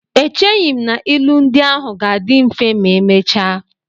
Echeghị m na ilu ndị ahụ ga-adị mfe ma emechaa.